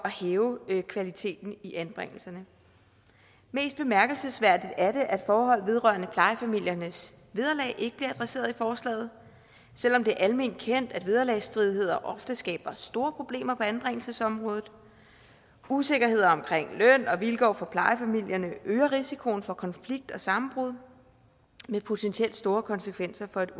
hæve kvaliteten i anbringelserne mest bemærkelsesværdigt er det at forhold vedrørende plejefamiliernes vederlag ikke bliver adresseret i forslaget selv om det er alment kendt at vederlagsstridigheder ofte skaber store problemer på anbringelsesområdet usikkerhed omkring løn og vilkår for plejefamilierne øger risikoen for konflikt og sammenbrud med potentielt store konsekvenser for et